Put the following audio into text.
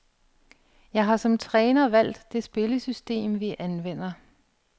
Jeg har som træner valgt det spillesystem, vi anvender.